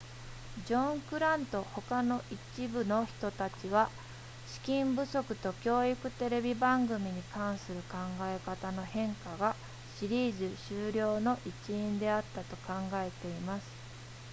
ジョングラントほか一部の人たちは資金不足と教育テレビ番組に関する考え方の変化がシリーズ終了の一因であったと考えています